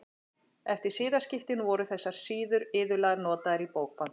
Eftir siðaskiptin voru þessar síður iðulega notaðar í bókband.